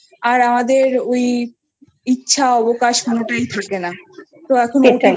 আর আমাদের ওই ইচ্ছা অবকাশ কোনোটাই থাকে না তো এখন OTT সেটাই